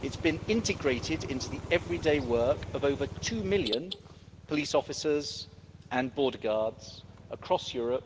It has been integrated into the everyday work of over two million police officers and border guards across Europe,